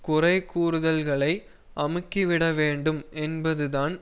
குறை கூறுதல்களை அமுக்கிவிட வேண்டும் என்பதுதான்